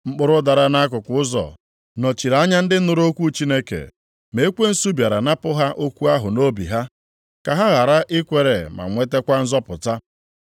Mkpụrụ dara nʼakụkụ ụzọ nọchiri anya ndị nụrụ okwu Chineke, ma ekwensu bịara napụ ha okwu ahụ nʼobi ha, ka ha ghara ikwere ma nwetakwa nzọpụta.